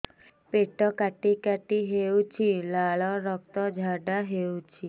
ପେଟ କାଟି କାଟି ହେଉଛି ଲାଳ ରକ୍ତ ଝାଡା ହେଉଛି